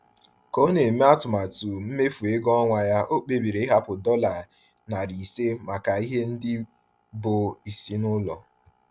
Ka o na-eme atụmatụ mmefu ego ọnwa ya, ọ kpebiri ịhapụ dollar 500 maka ihe ndị bụ isi n’ụlọ.